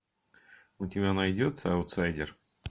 у тебя найдется аутсайдер